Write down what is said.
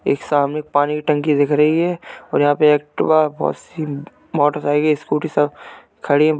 एक सामने पानी की टंकी दिख रही है और यहाँ पे एक्टिवा बोहोत सी मोटरसाइकिल स्कूटी सब खड़ी --